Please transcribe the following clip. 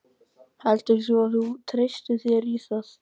Heldur þú að þú treystir þér í það?